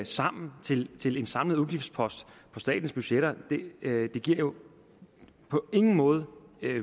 sammen til til en samlet udgiftspost på statens budgetter giver jo på ingen måde